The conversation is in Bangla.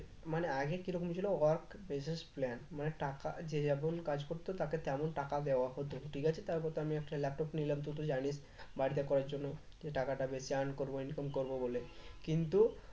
মানে আগে কিরকম ছিল work basis plan মানে টাকা যে যেমন কাজ করতো তাকে তেমন টাকা দেওয়া হতো ঠিক আছে তারপর তো আমি একটা laptop নিলাম তুই তো জানিস বাড়িতে করার জন্য যে টাকাটা বেশি earn করবো income করবো বলে কিন্তু